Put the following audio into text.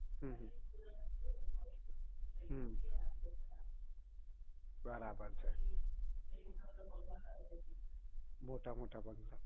હમ અમ બરાબર છે મોટા મોટા